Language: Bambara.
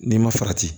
N'i ma farati